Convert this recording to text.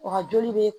Wa joli be